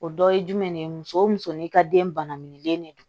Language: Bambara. O dɔ ye jumɛn ye muso o muso n'i ka den bananen de don